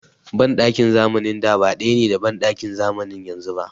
Banɗakin zamanin da ba ɗaya ne da banɗakin zamanin yanzu ba.